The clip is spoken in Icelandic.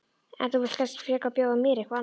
En þú vilt kannski frekar bjóða mér eitthvað annað?